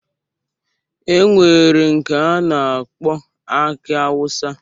E nwere nke a na-akpọ aki awụsa.